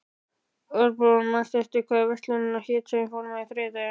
Örbrún, manstu hvað verslunin hét sem við fórum í á þriðjudaginn?